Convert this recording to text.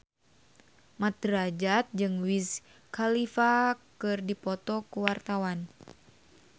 Mat Drajat jeung Wiz Khalifa keur dipoto ku wartawan